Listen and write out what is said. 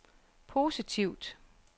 positivt